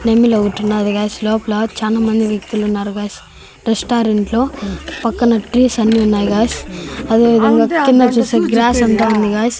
నెమలి ఒకటి ఉన్నది గాయ్స్ లోపల చానా మంది వ్యక్తులు ఉన్నారు గాయ్స్ రెస్టారెంట్ లో పక్కన ట్రీస్ అన్ని ఉన్నాయి గాయ్స్ అదే విధంగా కింద వచ్చేసి గ్రాస్ అంత ఉంది గాయ్స్ .